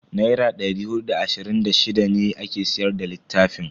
Naira da hudu da ashirin da shida ne ake siyar da littafin.